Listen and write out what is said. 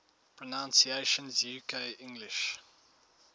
pronunciations uk english